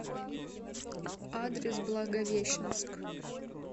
адрес благовещенск